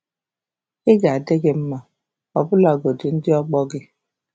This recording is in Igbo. Ị ga-adị gị mma, ọbụlagodi ndị ọgbọ gị.